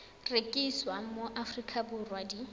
rekisiwa mo aforika borwa di